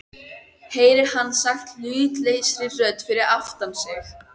heyrir hann sagt hlutlausri rödd fyrir aftan sig.